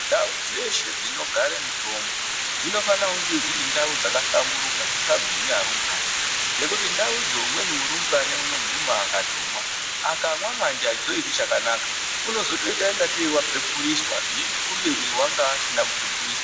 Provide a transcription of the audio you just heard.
Ndau dzeshe dzinogare mitombo dzinofanira kunge dziri ndau dzakahlamburuka dzisikagumi arumbwani. Nekuti ndaudzo umweni murumbwani unoguma akatomwa akamwa manje hachizoiti chakanaka unozotoita kunge tei vapepuriswa kubeni vangaasina kupepuriswa.